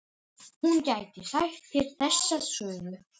Hún gæti sagt þér þessa sögu.